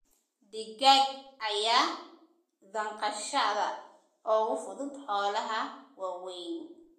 Digaag ayaa dhaqashada uga fudud xoolaha waaweyn.